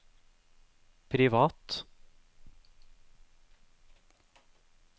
privat